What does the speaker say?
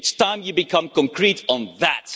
It's time you became concrete on that.